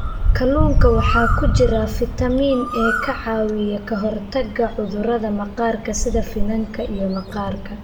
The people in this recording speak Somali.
Kalluunka waxaa ku jira fiitamiin e ka caawiya ka hortagga cudurrada maqaarka sida finanka iyo maqaarka.